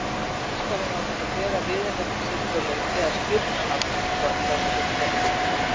Braskarinn var búinn að bera viðurnefni sitt svo lengi að skírnarnafn hans var flestum gleymt.